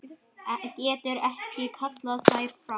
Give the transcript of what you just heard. Getur ekki kallað þær fram.